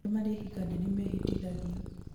arĩa marahikania nĩmehĩtithagio